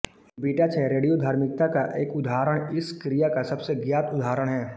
beta क्षय रेडियोधर्मिता का एक उदाहरण इस क्रिया का सबसे ज्ञात उदाहरण है